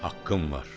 Haqqın var.